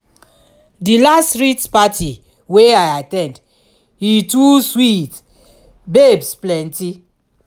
di last street party wey i at ten d e too sweet babes plenty